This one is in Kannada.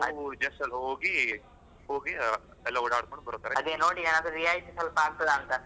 ನಾವು just ಅಲ್ಲಿ ಹೋಗಿ ಆ ಹೋಗಿ ಎಲ್ಲ, ಒಡ್ಡಕೊಂಡ್ ಬರು ತರ ಇರ್ತದೆ, ಅದೇ ನೋಡಿ ಆದ್ರೆ ರಿಯಾತಿ ಸ್ವಲ್ಪ ಆಗತದ ಅಂತಹ.